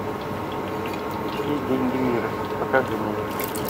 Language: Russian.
все деньги мира покажи мне